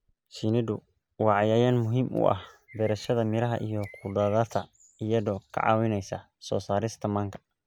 Shinnidu waa cayayaan muhiim u ah beerashada miraha iyo khudaarta iyadoo ka caawinaysa soo saarista manka.